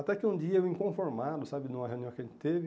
Até que um dia eu, inconformado, sabe, numa reunião que a gente teve,